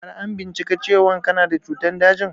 Har an bincika cewan kana da cutan dajin?